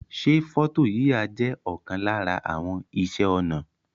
Se foto yiya je okan lara àwon ise onà